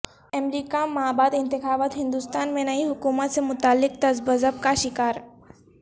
امریکہ مابعد انتخابات ہندوستان میں نئی حکومت سے متعلق تذبذب کا شکار